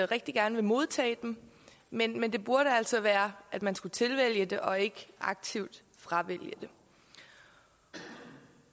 rigtig gerne vil modtage dem men det burde altså være at man skulle tilvælge det og ikke aktivt fravælge det